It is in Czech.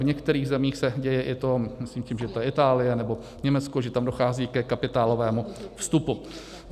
V některých zemích se děje i to, myslím si, že je to Itálie nebo Německo, že tam dochází ke kapitálovému vstupu.